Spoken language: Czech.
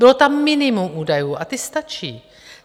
Bylo tam minimum údajů a ty stačí.